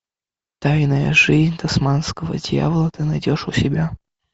тайная жизнь тасманского дьявола ты найдешь у себя